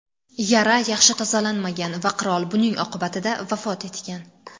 Yara yaxshi tozalanmagan va qirol buning oqibatida vafot etgan.